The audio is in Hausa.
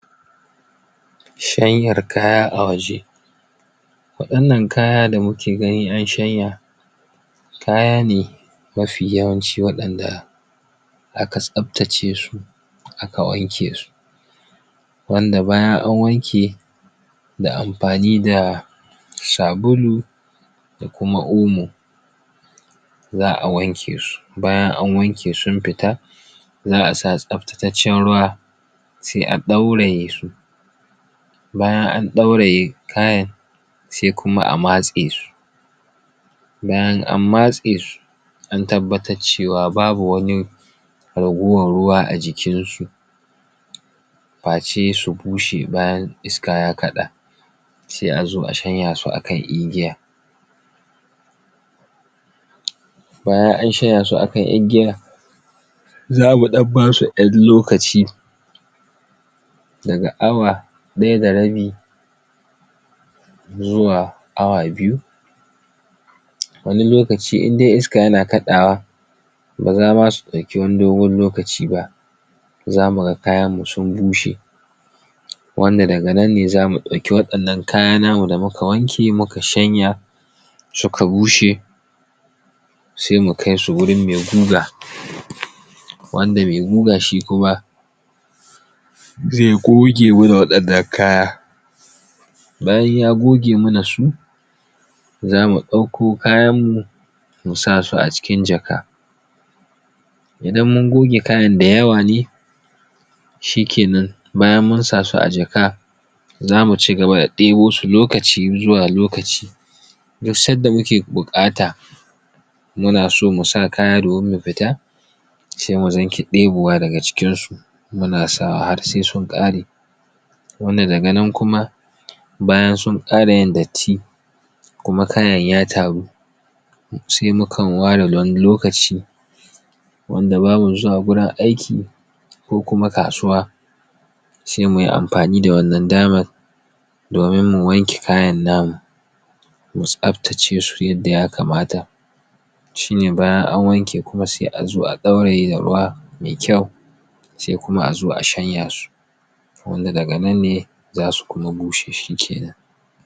Shanyar kaya a waje waɗannan kaya da muke gani an shanya, kaya ne mafi yawanci waɗanda aka tsaftace su aka wanke su. Wanda bayan an wanke da amfani da sabulu da kuma omo. Za'a wanke su, bayan an wanke sun fita za'a sa tsaftataccen ruwa sai a ɗauraye su. Bayan an ɗauraye kayan sai kuma a matse su. Bayan an matse su an tabbatar cewa babu wani ragowar ruwa a jikin su, face su bushe bayan iska ya kaɗa sai a zo a shanya akan igiya. Bayan an shanya su akan igiya, za mu ɗan basu ƴan lokaci daga awa ɗaya da rabi zuwa awa biyu. Wani lokaci indai iska ya na kaɗawa ba za ma su ɗauki wani dogon lokaci ba, za mu ga kayan mu sun bushe. Wanda daga nan ne za mu ɗauki waɗannan kaya namu da muka wanke muka shanya suka bushe sai mu kai su wurin mai guga. Wanda mai guga shi kuma zai goge muna waɗannan kaya. Bayan ya goge muna su za mu ɗauko kayan mu, mu sa su a cikin jaka. Idan mun goge kayan da yawa ne, shike nan, bayan mun sa su a jaka, za mu cigaba da ɗebo su lokaci zuwa lokaci. Duk sadda muke buƙata muna so mu sa kaya domin mu fita, se mu zanki ɗebowa daga cikin su muna sawa har sai sun ƙare. Wanda daga nan kuma bayan sun ƙara yin datti, kuma kayan ya taru sai mukan ware wani lokaci, wanda ba mu zuwa wurin aiki ko kuma kasuwa sai muyi amfani da wannan damar domin mu wanke kayan namu. Mu tsaftace su yadda ya kamata. Shine bayan an wanke kuma sai a zo a ɗauraye da ruwa mai kyau. Sai kuma a zo a shanya su. Wanda daga nan ne za su kuma bushe, shi ke nan.